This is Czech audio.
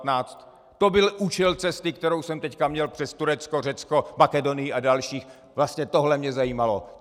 To byl účel cesty, kterou jsem teď měl přes Turecko, Řecko, Makedonii a další, vlastně tohle mě zajímalo.